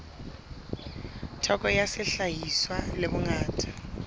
theko ya sehlahiswa le bongata